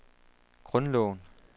grundloven